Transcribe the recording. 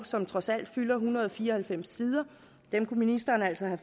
som trods alt fylder en hundrede og fire og halvfems sider kunne ministeren altså have